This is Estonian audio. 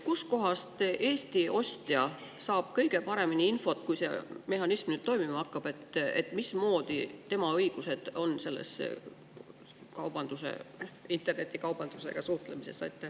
Kust kohast saab Eesti ostja kõige paremini infot, et kui see mehhanism toimima hakkab, siis millised on tema õigused internetikaubanduse suheldes?